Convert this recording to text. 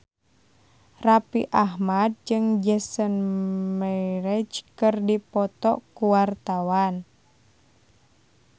Raffi Ahmad jeung Jason Mraz keur dipoto ku wartawan